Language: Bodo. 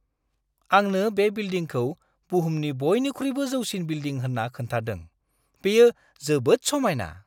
आंनो बे बिल्डिंखौ बुहुमनि बयनिख्रुइबो जौसिन बिल्दिं होन्ना खोन्थादों। बेयो जोबोद समायना!